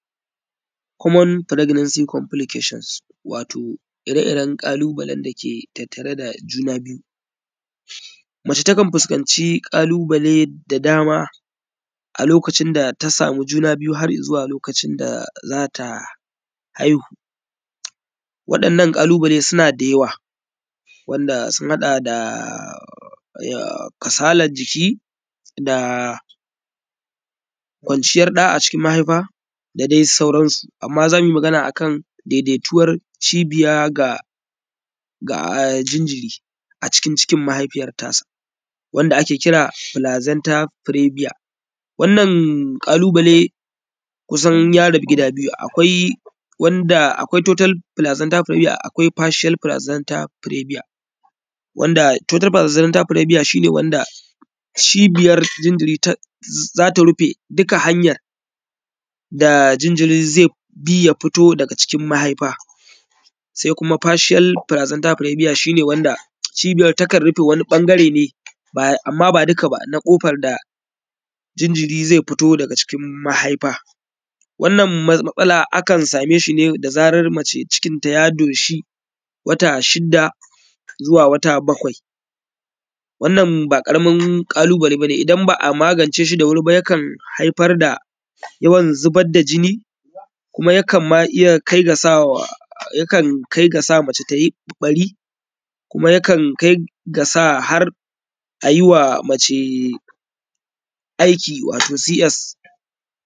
“Common pregnancy Complications”, wato ire-iren ƙalubaben da ke tattare da juna biyu. Mace takan fuskanci ƙalubale da dama a lokacin da ta samu juna biyu har i zuwa lokacin da za ta haihu. Waɗannan ƙalubale suna da yawa wanda sun haɗa da ya; kasalaj jiki da kwanciyar ɗa a cikin mahaifa da de sauran su. Amma za mu yi magana a kan dedetuwar cibiya ga; ga; jinjiri a cikin cikin mahaifiyar tasa wanda ake kira “plazanta prebia”. Wanna ƙalubale kusan ya rabu gida biyu, akwai wanda akwai “total plazanta prebia” akwai “partial plazanta prebia”, wanda “total plazanta prebia” shi ne wanda cibiyar jinjiri ta; za ta rufe dika hanyar da jinjiri ze bi ya fito daga cikin mahaifa. Se kuma “Partial plazanta prebia” shi ne wanda cibiyar takan rife wani ƃangare ne ba; amma ba dika ba, na ƙofar da jinjiri ze fito daga cikin mahaifa. Wannan matsala akan same shi ne da zarar mace cikinta ya doshi wata shida zuwa wata bakwai. Wannan ba ƙaramin ƙalubale ba ne, idan ba a magance shi da wuri ba yakan haifar da yawan zibad da jinni kuma yakan ma iya kai ga sawa; yakan kai ga sa mace ta yi ƃari kuma yakan kai ga sa har a yi wa mace aiki wato “cs”.